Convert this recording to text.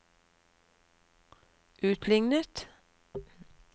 utlignet